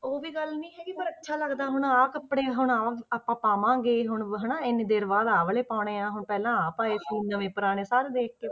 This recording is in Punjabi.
ਉਹ ਵੀ ਗੱਲ ਨੀ ਹੈਗੀ ਪਰ ਅੱਛਾ ਲੱਗਦਾ ਹੁਣ ਆਹ ਕੱਪੜੇ ਹੁਣ ਆਹ ਆਪਾਂ ਪਾਵਾਂਗੇ ਹੁਣ ਹਨਾ ਇੰਨੇ ਦੇਰ ਬਾਅਦ ਆਹ ਵਾਲੇ ਪਾਉਣੇ ਆਂ ਪਹਿਲਾਂ ਆਹ ਪਾਏ ਸੀ ਨਵੇਂ ਪੁਰਾਣੇ ਸਾਰੇ ਦੇਖ ਕੇ।